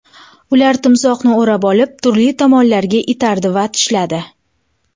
Ular timsohni o‘rab olib, turli tomonlarga itardi va tishladi.